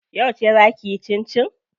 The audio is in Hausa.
Yauce zaa kiyi cincin?